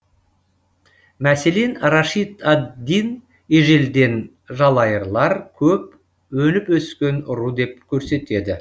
мәселен рашид ад дин ежелден жалайырлар көп өніпөскен ру деп көрсетеді